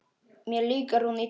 Mér líkar hún illa.